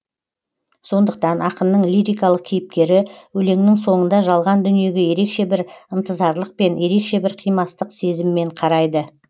сондықтан ақынның лирикалық кейіпкері өлеңнің соңында жалған дүниеге ерекше бір ынтызарлықпен ерекше бір қимастық сезіммен қарайды